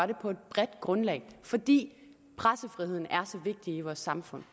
det på et bredt grundlag fordi pressefriheden er så vigtig i vores samfund